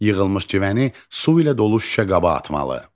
Yığılmış civəni su ilə dolu şüşə qaba atmalı.